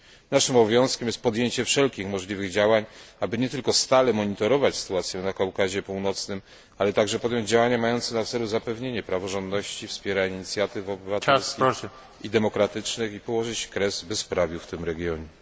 Naszym obowiązkiem jest podjęcie wszelkich możliwych działań, aby nie tylko stale monitorować sytuację na Kaukazie Północnym, ale także podjąć działania mające na celu zapewnienie praworządności, wspieranie inicjatyw obywatelskich i demokratycznych i położyć kres bezprawiu w tym regionie.